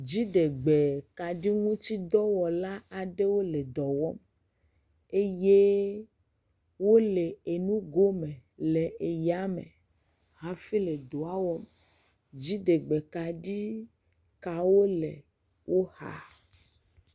Dziɖegbekaɖi ŋuti dɔwɔla aɖewo le dɔ wɔm eye wole enugo me le eyame hafi le edɔ wɔm. Dziɖegbekaɖi kawo le wo xa.